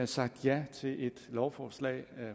sagt ja til et lovforslag